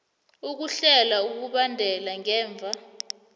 ukuhlela ukubhadela ngemva